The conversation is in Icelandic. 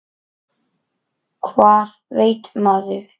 Hvað veit maður?